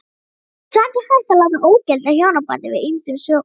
Samt er hægt að láta ógilda hjónabandið af ýmsum sökum.